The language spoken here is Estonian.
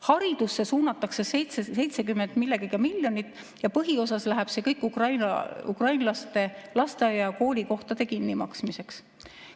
Haridusse suunatakse 70 millegagi miljonit ja põhiosas läheb see kõik ukrainlaste lasteaia‑ ja koolikohtade kinnimaksmiseks.